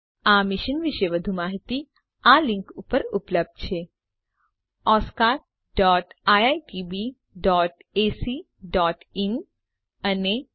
આ મિશન વિશે વધુ માહીતી આ લીંક ઉપર ઉપલબ્ધ છે oscariitbacઇન અને spoken tutorialorgnmeict ઇન્ટ્રો